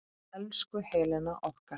Elsku Helena okkar.